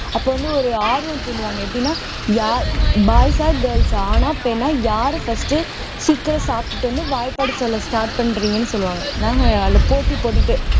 அப்ப வந்து ஒரு ஆர்வம் தூண்டுவாங்க எப்படின்னா யா boys ஆ girls ஆ ஆணா பெண்ணா யாரு first சீக்கிரம் சாப்பிட்டுட்டு வந்து வாய்ப்பாடு சொல்ல start பண்றீங்கன்னு சொல்லுவாங்க நாங்க அதுல போட்டி போட்டுட்டு